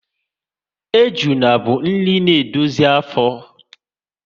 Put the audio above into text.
Ejuna bụ nri na edozi ahụ